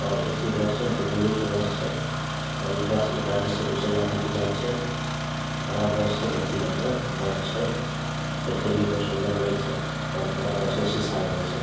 और AC. Bus छै दु मंजिल के बस छै और इ बस एक राज्य से दूसरे राज्य भी जाये छै बड़ा बस छै बहुत ही बढ़िया बस छै देखे मे भी बहुत सुन्दर लगे छै और पूरा बस में सीसा लगल छै ।